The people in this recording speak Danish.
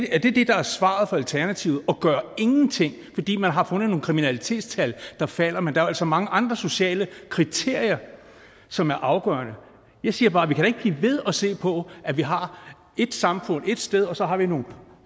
er det det der er svaret fra alternativet at gøre ingenting fordi man har fundet nogle kriminalitetstal der falder men der er jo altså mange andre sociale kriterier som er afgørende jeg siger bare at vi da ikke kan blive ved at se på at vi har ét samfund ét sted og så har nogle